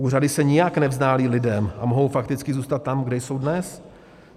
Úřady se nijak nevzdálí lidem a mohou fakticky zůstat tam, kde jsou dnes.